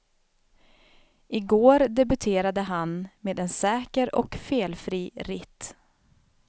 I går debuterade han med en säker och felfri ritt.